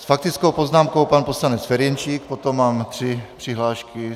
S faktickou poznámkou pan poslanec Ferjenčík, potom mám tři přihlášky.